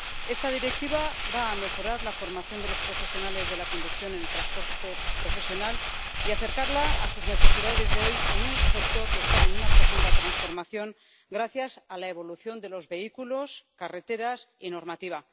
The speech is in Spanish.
Esta Directiva va a mejorar la formación de los profesionales de la conducción en el transporte profesional y acercarla a sus necesidades de hoy en un sector que está en profunda transformación gracias a la evolución de los vehículos, las carreteras y la normativa.